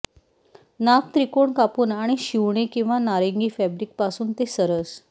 नाक त्रिकोण कापून आणि शिवणे किंवा नारिंगी फॅब्रिक पासून ते सरस